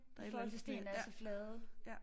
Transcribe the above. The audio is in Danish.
Der et eller andet med ja ja